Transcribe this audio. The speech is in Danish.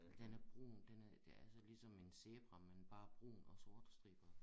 Den er brun den er ja altså ligesom en zebra men bare brun og sorte striber